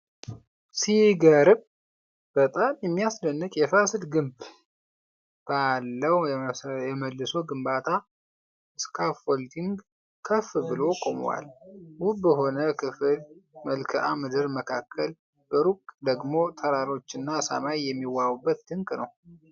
ሲገርም! በጣም የሚያስደንቅ የፋሲል ግንብ! ባለው የመልሶ ግንባታ ስካፎልዲንግ ከፍ ብሎ ቆሟል። ውብ በሆነ ክፍት መልክአ ምድር መካከል፣ በሩቅ ደግሞ ተራሮችና ሰማይ የሚዋቡበት ድንቅ ነው።